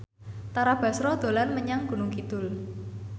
Tara Basro dolan menyang Gunung Kidul